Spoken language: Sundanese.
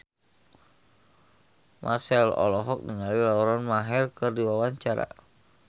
Marchell olohok ningali Lauren Maher keur diwawancara